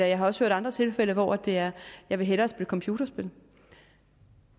jeg har også hørt andre tilfælde hvor det er jeg vil hellere spille computerspil